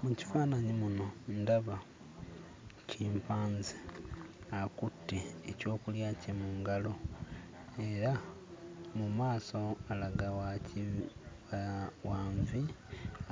Mu kifaananyi muno ndaba kimpanze akutte ekyokulya kye mu ngalo era mu maaso alaga wa ki... wa nvi,